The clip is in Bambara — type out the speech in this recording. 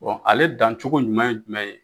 ale dan cogo ɲumɛn ye jumɛn ye?